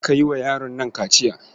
Je ka yi wa yaron nan kaciya.